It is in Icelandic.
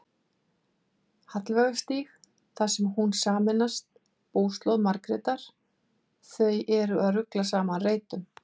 Hallveigarstíg þar sem hún sameinast búslóð Margrétar: þau eru að rugla saman reytum.